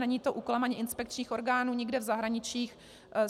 Není to úkolem ani inspekčních orgánů nikde v zahraničí.